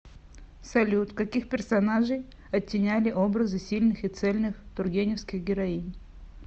салют каких персонажей оттеняли образы сильных и цельных тургеневских героинь